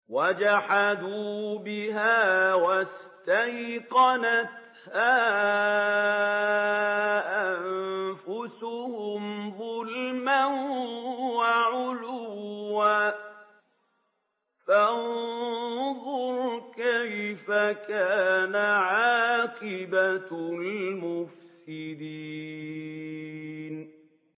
وَجَحَدُوا بِهَا وَاسْتَيْقَنَتْهَا أَنفُسُهُمْ ظُلْمًا وَعُلُوًّا ۚ فَانظُرْ كَيْفَ كَانَ عَاقِبَةُ الْمُفْسِدِينَ